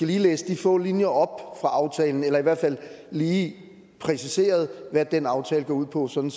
lige læste de få linjer op fra aftalen eller i hvert fald lige præciserede hvad den aftale går ud på sådan